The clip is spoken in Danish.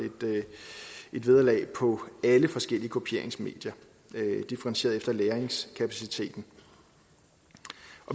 et vederlag på alle forskellige kopieringsmedier differentieret efter lagringskapaciteten